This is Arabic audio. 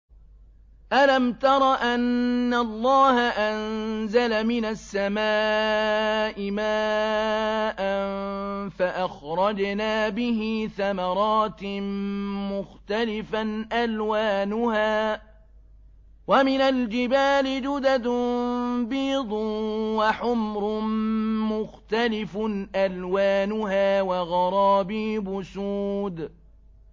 أَلَمْ تَرَ أَنَّ اللَّهَ أَنزَلَ مِنَ السَّمَاءِ مَاءً فَأَخْرَجْنَا بِهِ ثَمَرَاتٍ مُّخْتَلِفًا أَلْوَانُهَا ۚ وَمِنَ الْجِبَالِ جُدَدٌ بِيضٌ وَحُمْرٌ مُّخْتَلِفٌ أَلْوَانُهَا وَغَرَابِيبُ سُودٌ